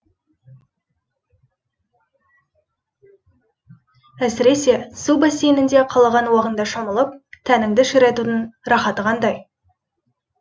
әсіресе су бассейнінде қалаған уағыңда шомылып тәніңді ширатудың рахаты қандай